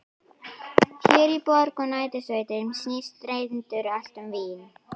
Hér í borg og nærsveitum snýst reyndar allt um vín.